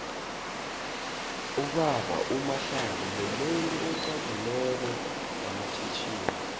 ubaba umahlangu mumuntu uxagileko nqamatjhitjhini